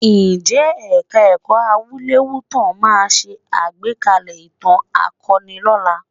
Ǹjẹ́ Ẹ̀ka-ẹ̀kọ́ Awúlẹ̀wútàn máa ṣe àgbékalẹ̀ ìtàn akọni lọ́la?